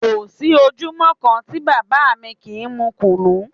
Kò sí ojúmọ́ kan tí bàbá mi kì í mú Kùnú